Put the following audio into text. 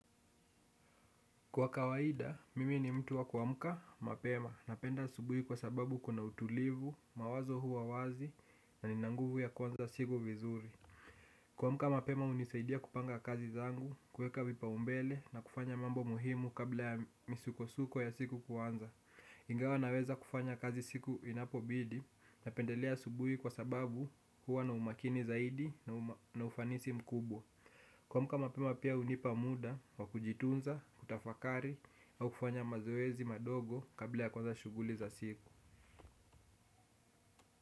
Kwa kawaida, mimi ni mtu wa kuamka mapema. Napenda asubuhi kwa sababu kuna utulivu, mawazo huwa wazi, na nina nguvu ya kuanza siku vizuri. Kuamka mapema hunisaidia kupanga kazi zangu, kuweka vipaumbele na kufanya mambo muhimu kabla ya misuko-suko ya siku kuanza. Ingawa naweza kufanya kazi siku inapobidi, napendelea asubuhi kwa sababu huwa na umakini zaidi na ufanisi mkubwa. Kuamka mapema pia hunipa muda, wa kujitunza, kutafakari, au kufanya mazoezi madogo kabla ya kuanza shughuli za siku.